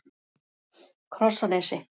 Krossanesi